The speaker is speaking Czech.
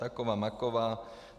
Taková, maková.